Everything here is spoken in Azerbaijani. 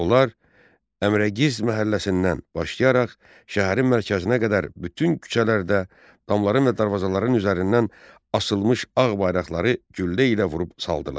Onlar Əmirəqiz məhəlləsindən başlayaraq, şəhərin mərkəzinə qədər bütün küçələrdə, damların və darvazaların üzərindən asılmış ağ bayraqları güllə ilə vurub saldılar.